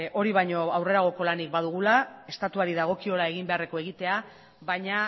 hori baino aurrerako lanik badugula estatuari dagokiola egin beharrekoa egitea baina